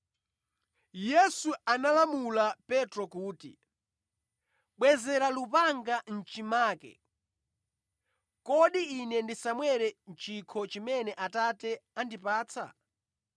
Yesu analamula Petro kuti, “Bwezera lupanga mʼchimake! Kodi Ine ndisamwere chikho chimene Atate andipatsa?”